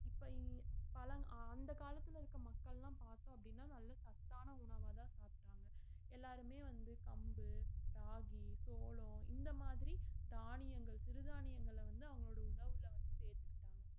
இப்ப இ~ பழங்~ அந்த காலத்துல இருக்க மக்கள்லாம் பார்த்தோம் அப்படின்னா நல்ல சத்தான உணவாதான் சாப்பிட்டாங்க எல்லாருமே வந்து கம்பு ராகி சோளம் இந்த மாதிரி தானியங்கள் சிறுதானியங்கள வந்து அவங்களோட உணவுல வந்து சேத்துக்கிட்டாங்க